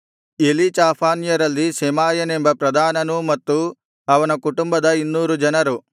ಎಲೀಚಾಫಾನ್ಯರಲ್ಲಿ ಶೆಮಾಯನೆಂಬ ಪ್ರಧಾನನೂ ಮತ್ತು ಅವನ ಕುಟುಂಬದ ಇನ್ನೂರು ಜನರು